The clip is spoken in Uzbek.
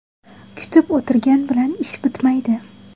Kutib o‘tirgan bilan ish bitmaydi.